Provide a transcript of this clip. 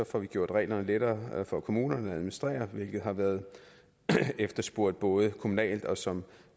får vi gjort reglerne lettere for kommunerne at administrere hvilket har været efterspurgt både kommunalt og som